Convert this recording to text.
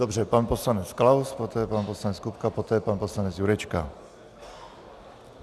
Dobře, pan poslanec Klaus, poté pan poslanec Kupka, poté pan poslanec Jurečka.